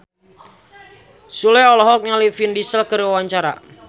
Sule olohok ningali Vin Diesel keur diwawancara